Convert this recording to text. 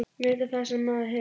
Meta það sem maður hefur.